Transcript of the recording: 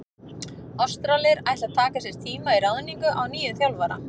Ástralir ætla að taka sér tíma í ráðningu á nýjum þjálfara.